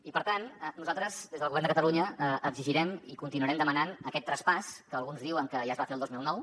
i per tant nosaltres des del govern de catalunya exigirem i continuarem demanant aquest traspàs que alguns diuen que ja es va fer el dos mil nou